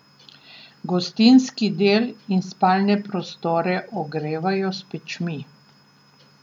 Gostinski del in spalne prostore ogrevajo s pečmi.